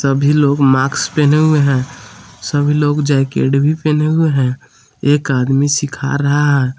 सभी लोग माक्स पहने हुए हैं सभी लोग जैकेट भी पहने हुए हैं एक आदमी सीखा रहा है।